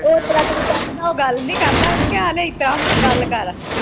ਉਸ ਤਰਾਂ ਤੂੰ ਆਨਾ ਉਹ ਗੱਲ ਨਹੀਂ ਕਰਦਾ ਓਹਨੂੰ ਕਹਿ ਆਲੇ ਇਸਤਰਾਂ ਹੁਣ ਗੱਲ ਕਰ